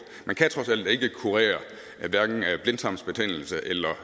man kan trods alt ikke kurere blindtarmsbetændelse eller